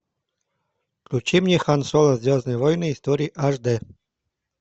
включи мне хан соло звездные войны истории аш дэ